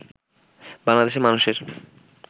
বাংলাদেশের মানুষের